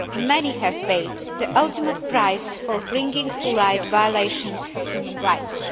Many have paid the ultimate price for bringing to light violations of human rights.